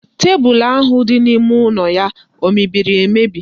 Tebụlụ ahụ dị n'ime ụlọ ya o mebiri emebi?